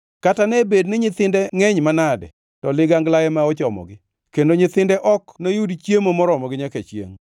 Kata ne bed ni nyithinde ngʼeny manade, to ligangla ema ochomogi; kendo nyithinde ok noyud chiemo moromogi nyaka chiengʼ.